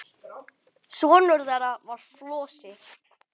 Sonur þeirra var Flosi.